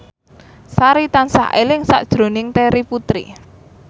Sari tansah eling sakjroning Terry Putri